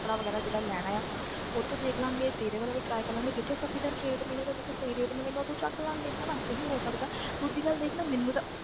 ਕੱਪੜਾ ਵਗ਼ੈਰਾ ਜਿੱਦਾਂ ਲੈਣਾ ਆਂ ਉੱਥੋਂ ਦੇਖ ਲਵਾਂਗੇ ਤੇਰੇ ਵਾਲਾ ਵੀ try ਕਰ ਲਵਾਂਗੀ ਜਿੱਥੋਂ sufficient rate ਮਿਲੇਗਾ ਜਿੱਥੋਂ ਸਹੀ rate ਮਿਲੇਗਾ ਉੱਥੋ ਚੁੱਕ ਲਵਾਂਗੇ ਹਨਾ ਇਹੀ ਹੋ ਸਕਦਾ ਹੈ ਦੂਜੀ ਗੱਲ ਦੇਖ ਨਾ ਮੈਨੂੰ ਤਾਂ